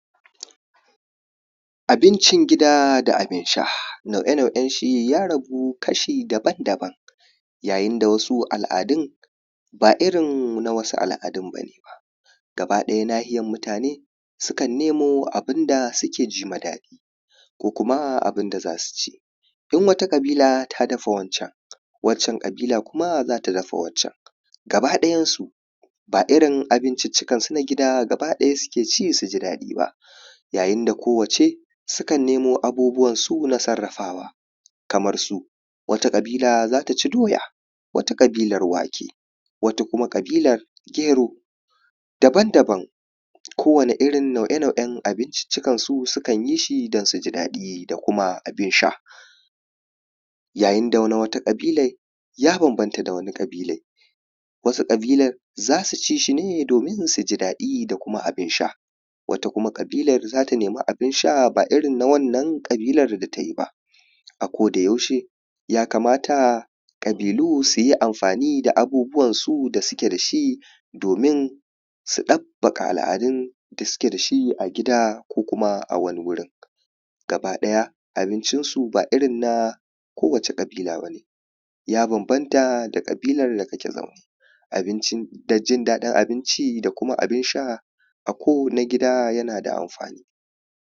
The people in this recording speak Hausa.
Abincin gida da abin sha, nau’ye-nau’yen shi ya ragu kashi daban-daban. Yayin da wasu al’adun ba irin na wasu al’adun ba gaba ɗaya nahiyar mutane sukan nemo abin da sukan jima daɗi ko kuma abin da za su ci. In wata ƙabila ta dafa wancan, wancan ƙabala kuma za ta dafa wancan, gaba ɗayan su, ba irin abinciccikansu na gida suke ci su ji daɗi ba. Yayin da kowacce, sukan nemo abubuwansu na sarrafawa kamar su wata ƙabila za ta ci doya, wata ƙabilar wake wata kuma ƙabilar gero daban-daban kowane nau’ye- nau’ye abinciccikansu sukan yi shi don su ji daɗi da kuma abin sha. Yayin da na wata ƙabilai ya bambanta da na wata ƙabilai. Wasu ƙabila za ta ci shi domin su ji daɗi da abin sha. Wata kuma ƙabilar za ta nemi abin sha, ba irin na wannan ƙabilar da ta yi ba, A kodayaushe yakamata ƙabilu su yi amfani da abubuwansu da suke da shi, domin su ɗabbaƙa al’adun da suke da su a gida ko kuma a wani wurin, gaba ɗaya abincin su ba irin na kowace ƙabila ba ne ya bambanta da ƙabilar da kake zaune abinci da jin daɗin abinci da kuma abin sha, a ko na gida yana da amfani.